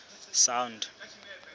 sound